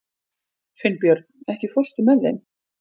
Finnbjörn, ekki fórstu með þeim?